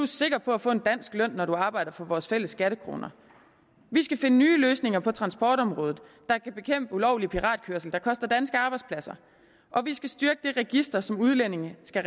sikker på at få en dansk løn når man arbejder for vores fælles skattekroner vi skal finde nye løsninger på transportområdet der kan bekæmpe ulovlig piratkørsel der koster danske arbejdspladser og vi skal styrke det register som udlændinge skal